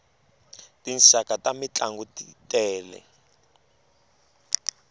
tinxaka ta mintlangu t tele